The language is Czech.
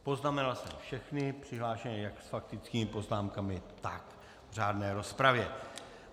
Poznamenal jsem všechny přihlášené jak s faktickými poznámkami, tak v řádné rozpravě.